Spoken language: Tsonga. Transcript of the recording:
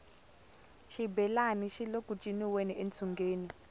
xibelani xile ku ciniweni entsungeni